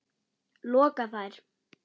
loka þær.